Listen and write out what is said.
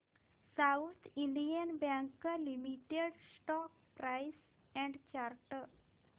south Indian bank limited stock price and chart